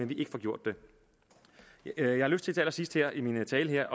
vi ikke får gjort det jeg har lyst til allersidst her i min tale